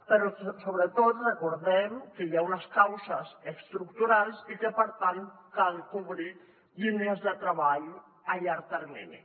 però sobretot recordem que hi ha unes causes estructurals i que per tant cal cobrir línies de treball a llarg termini